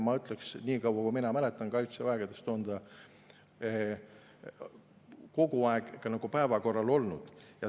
Ma ütleksin, et niikaua, kui mina mäletan, siis Kaitseväes on see kogu aeg päevakorral olnud.